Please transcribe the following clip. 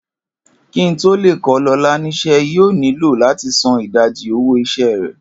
Kí n tó lè kó̩ Lo̩lá nís̩é̩, yóò nílò láti san ìdajì owó is̩é̩ rè̩